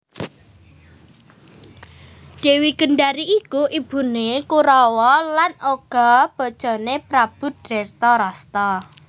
Dèwi Gendari iku ibuné Korawa lan uga bojoné Prabu Dretarastra